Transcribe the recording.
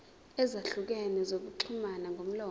ezahlukene zokuxhumana ngomlomo